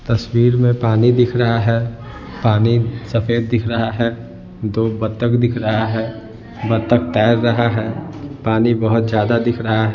तस्वीर में पानी दिख रहा है पानी सफेद दिख रहा है दो बत्तक दिख रहा है बत्तक तैर रहा है पानी बहुत ज्यादा दिख रहा है।